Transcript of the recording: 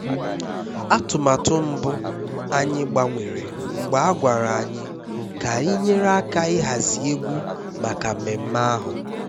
atụmatụ mbụ anyị gbanwere mgbe a gwara anyị ka anyị nyere aka ịhazi egwu maka mmemme ahụ